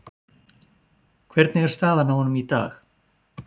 Hvernig er staðan á honum í dag?